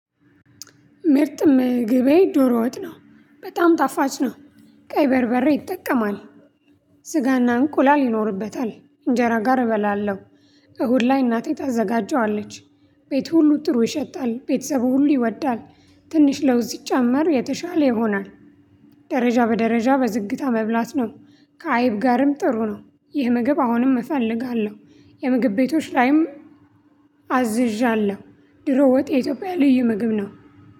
ምርጥም ምግቤ ዶሮ ወጥ ነው በጣም ጣፋጭ ነው ቀይ በርበሬ ይጠቀማል። ስጋና እንቁላል ይኖርበታል እንጀራ ጋር እበላለሁ። እሁድ ላይ እናቴ ታዘጋጀዋለች። ቤት ሁሉ ጥሩ ይሸታል ቤተሰብ ሁሉ ይወዳል። ትንሽ ለውዝ ስጨመር የተሻለ ይሆናል። ደረጃ በደረጃ በዝግታ መብላት ነው። ከአይብ ጋርም ጥሩ ነው ይህ ምግብ አሁንም እፈልጋለሁ። የምግብ ቤቶች ላይም አዝዣለሁ። ድሮ ወጥ የኢትዮጵያ ልዩ ምግብ ነው።